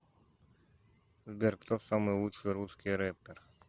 сбер кто самый лучший русский рэпер